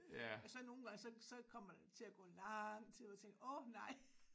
Og så nogle gange så så kommer der til at gå lang tid jeg tænker åh nej